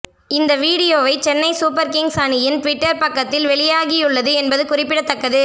இந்த வீடியோவை Chennai super kings அணியின் டுவிட்டர் பக்கத்தில் வெளியாகியுள்ளது என்பது குறிப்பிடத்தக்கது